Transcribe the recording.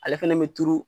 Ale fɛnɛ bɛ turu